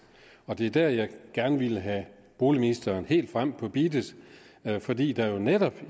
og det er der jeg gerne vil have boligministeren helt frem på beatet fordi der jo netop